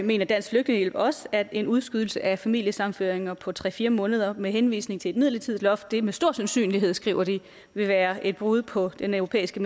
mener dansk flygtningehjælp også at en udskydelse af familiesammenføring på tre fire måneder med henvisning til et midlertidigt loft med stor sandsynlighed skriver de vil være et brud på den europæiske